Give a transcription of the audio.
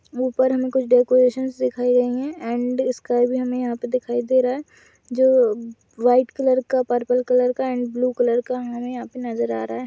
ऊपर हमें कुछ डेकोरेशनस दिखाई गई है एण्ड स्काय भी हमें यहाँ पे दिखाई दे रहा है जो व्हाइट कलर का पर्पल कलर का एण्ड ब्लू कलर का हमें यहाँ पे नजर आ रहा हैं।